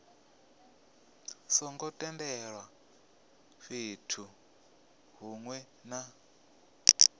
songo tendelwaho fhethu hunwe na